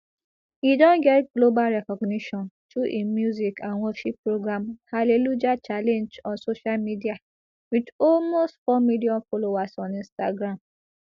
e don get global recognition through im music and worship program hallelujah challenge on social media wit almost four million followers on instagram